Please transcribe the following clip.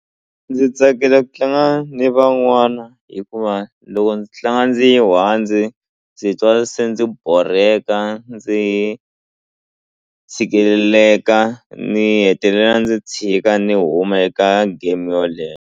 Ndzi tsakela ku tlanga ni van'wana hikuva loko ndzi tlanga ndzi yi ndzi twa se ndzi borheka ndzi hi tshikeleleka ni hetelela ndzi chika ni huma eka game yoleyo.